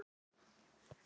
Það lagast.